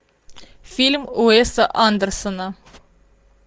фильм уэса андерсона